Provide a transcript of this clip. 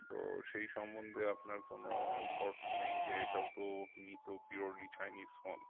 তো সেই সম্বন্ধে আপনার কোনো thoughts নেই যে এটাও তো মি তো purely chinese phone